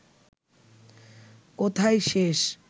কোথায় শেষ